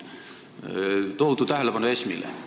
Tohutu tähelepanu oli ESM-i vastu.